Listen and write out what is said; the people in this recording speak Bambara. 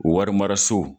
Warimaraso